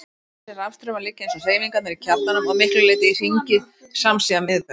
Þessir rafstraumar liggja, eins og hreyfingarnar í kjarnanum, að miklu leyti í hringi samsíða miðbaug.